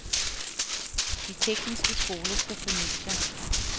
De tekniske skoler skal fornye sig.